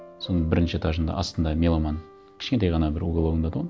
соның бірінші этажында астында меломан кішкентай ғана бір угологында еді тұғын